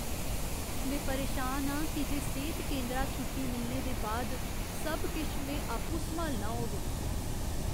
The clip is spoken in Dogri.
में परेशान आं की जे सेह्त केंदरा छुट्टी मिलने दे बाद सब किश में आपूं सम्हालना होग।